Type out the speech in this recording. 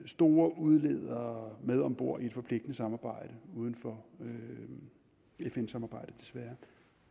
store udledere med om bord i et forpligtende samarbejde uden for fn samarbejdet desværre